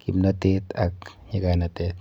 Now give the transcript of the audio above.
kimnotet ak nyikanatet.